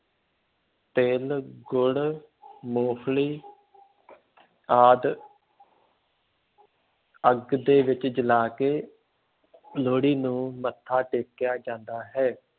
ਤਿੱਲ, ਗੁੱੜ੍ਹ, ਮੂੰਫਲੀ ਆਦਿ ਅੱਗ ਦੇ ਵਿੱਚ ਜਲਾ ਕੇ ਲੋਹੜੀ ਨੂੰ ਮੱਥਾ ਟੇਕਿਆ ਜਾਂਦਾ ਹੈ।